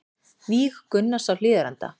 Víg Gunnars á Hlíðarenda